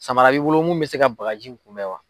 Samara b'i bolo min bɛ se ka bagaji in kunbɛn wa.